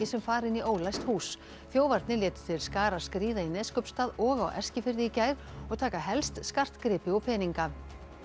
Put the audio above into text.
sem fara inn í ólæst hús þjófarnir létu til skarar skríða í Neskaupstað og á Eskifirði í gær og taka helst skartgripi og peninga